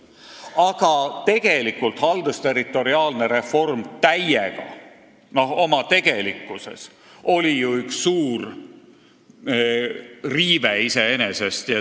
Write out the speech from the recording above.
Aga tegelikult oli kogu haldusterritoriaalne reform iseenesest üks suur riive.